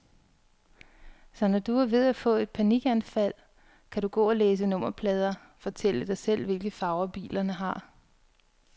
Så når du er ved at få et panikanfald, kan du gå og læse nummerplader, fortælle dig selv, hvilke farver bilerne har.